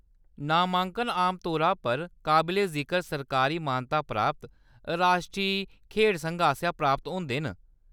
नामांकन आमतौरा पर काबले-जिकर सरकारी मानता प्राप्त राश्ट्री खेढ संघें आसेआ प्राप्त होंदे न।